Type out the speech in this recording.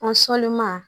An sɔlima